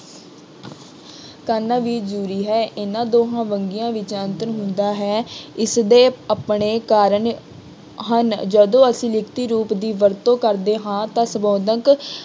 ਕਰਨਾ ਵੀ ਜ਼ਰੂਰੀ ਹੈ। ਇਹਨਾ ਦੋਹਾਂ ਵੰਨਗੀਆਂ ਵਿੱਚ ਅੰਤਰ ਹੁੰਦਾ ਹੈ। ਇਸਦੇ ਆਪਣੇ ਕਾਰਨ ਹਨ। ਜਦੋਂ ਅਸੀਂ ਲਿਖਤੀ ਰੂਪ ਦੀ ਵਰਤੋਂ ਕਰਦੇ ਹਾਂ ਤਾਂ ਸੁਭਾਵਕ